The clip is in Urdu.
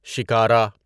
شکارہ